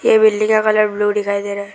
ये बिल्डिंग का colour blue दिखाई दे रहा है।